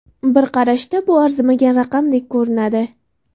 Bir qarashda bu arzimagan raqamdek ko‘rinadi.